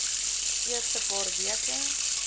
eerste paar weke